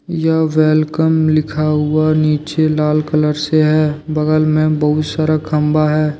यह वेलकम लिखा हुआ नीचे लाल कलर से है बगल में बहुत सारा खम्भा है।